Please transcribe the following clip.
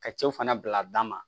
Ka co fana bila dama